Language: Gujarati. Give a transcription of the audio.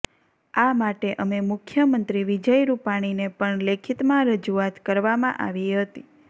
આ માટે અમે મુખ્યમંત્રી વિજય રુપાણીને પણ લેખિતમાં રજૂઆત કરવામાં આવી હતી